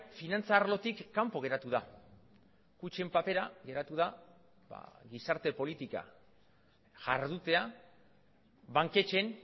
finantza arlotik kanpo geratu da kutxen papera geratu da gizarte politika jardutea banketxeen